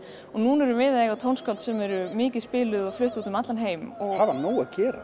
núna erum við að eiga tónskáld sem eru mikið spiluð og flutt út um allan heim hafa nóg að gera